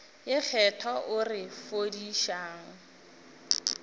ye kgethwa o re fodišang